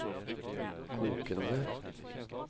kokende